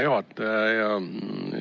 Hea juhataja!